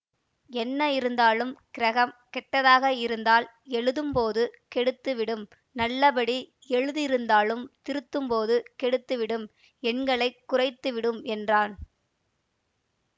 என்ன இருந்தாலும் கிரகம் கெட்டதாக இருந்தால் எழுதும் போது கெடுத்து விடும் நல்லபடி எழுதியிருந்தாலும் திருத்தும்போது கெடுத்துவிடும் எண்களை குறைத்துவிடும் என்றான்